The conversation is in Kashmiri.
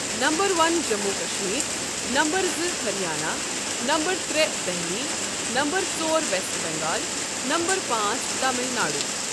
Number one Jammu Kashmir number زٕ ہریانہ نَمبر تٛرےٚ دہلی نَمبر ژور ویسٹ بنگال نَمبر پانٛژھ تامل ناڈو۔